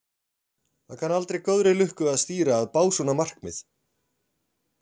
Það kann aldrei góðri lukku að stýra að básúna markmið.